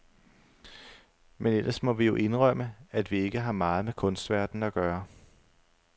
Men ellers må vi jo indrømme, at vi ikke har meget med kunstverdenen at gøre.